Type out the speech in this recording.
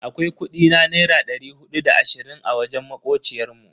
Akwai kudi na naira dari hudu da da ashirin a wajen makociyar mu.